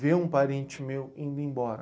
Ver um parente meu indo embora.